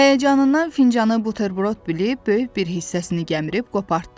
Həyəcanından fincanı buterbrot bilib böyük bir hissəsini gəmirib qopartdı.